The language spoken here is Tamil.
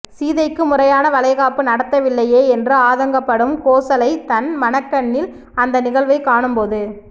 சீதைக்கு முறையான வளைகாப்பு நடத்தவில்லையே என்று ஆதங்கப்படும் கோசலை தன் மனக்கண்ணில் அந்த நிகழ்வைக் காணும் போது